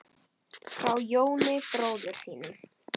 Frá Jóni bróður þínum.